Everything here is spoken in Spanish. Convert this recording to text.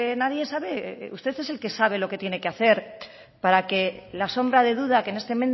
nadie sabe usted es el que sabe lo que tiene que hacer para que la sombra de duda que en este